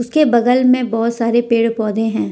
इसके बगल में बहोत सारे पेड़ पौधे हैं।